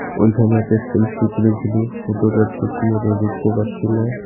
ওইখানে একটা সেলফি তুলেছিলো ফটোটা ঠিক মতো দেখতে পাচ্ছি না.